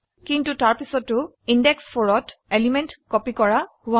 কিন্তু তাৰপিছতো ইন্দেশ 4 ত এলিমেন্ট কপি কৰা হোৱা নাই